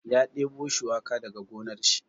Ya ɗebo shuwaka daga gonar shi.